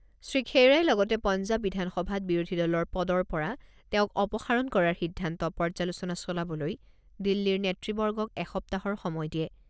শ্ৰীখেইৰাই লগতে পঞ্জাব বিধানসভাত বিৰোধী দলৰ পদৰ পৰা তেওঁক অপসাৰণ কৰাৰ সিদ্ধান্ত পৰ্যালোচনা চলাবলৈ দিল্লীৰ নেতৃবৰ্গক এসপ্তাহৰ সময় দিয়ে।